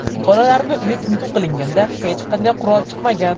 Bolalarning uyi tintuv qilinganda hech qanday qurol chiqmagan.